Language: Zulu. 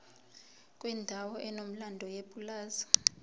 kwendawo enomlando yepulazi